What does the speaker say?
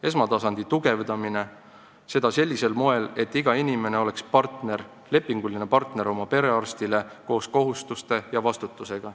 Esmatasandit tuleb tugevdada sellisel moel, et iga inimene oleks oma perearsti lepinguline partner koos kohustuste ja vastutusega.